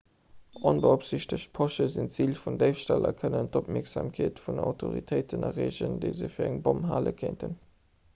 onbeopsiichtegt posche sinn zil vun déifstall a kënnen och d'opmierksamkeet vun autoritéiten erreegen déi se fir eng bomm hale kéinten